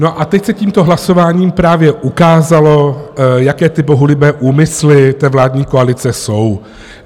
No a teď se tímto hlasováním právě ukázalo, jaké ty bohulibé úmysly té vládní koalice jsou.